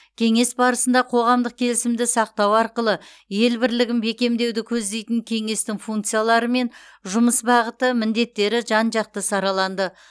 кеңес барысында қоғамдық келісімді сақтау арқылы ел бірлігін бекемдеуді көздейтін кеңестің функциялары мен жұмыс бағыты міндеттері жан жақты сараланды